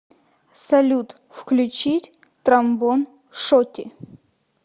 салют включить тромбон шоти